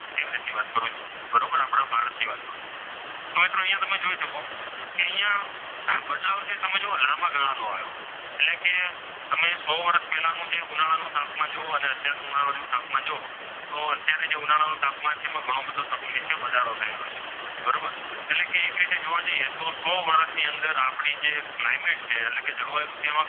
સો વર્ષ પહેલાનું ઉનાળાનું તાપમાન જુઓ અને અત્યારનું ઉનાળાનું તાપમાન જુઓ અને અત્યારનું ઉનાળાનું તાપમાન જુઓ તો અત્યારનું ઉનાળાનો તાપમાન છે એમાં ઘણો બધો વધારો થયેલો છે બરોબર એટલે કે એક રીતે જોવા જઈએ તો સો વર્ષની અંદર આપણે જે ક્લાયમેટ છે એ જળવાયું છે એમાં,